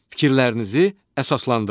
Fikirlərinizi əsaslandırın.